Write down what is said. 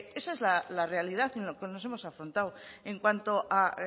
esa es la realidad en lo que nos hemos afrontado en cuanto a